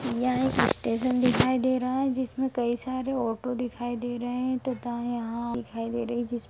ये एक स्टेशन दिखाई दे रहा है। जिसमें कई सारी ऑटो दिखाई दे रही हैं मिटि दिखाई दे रही है।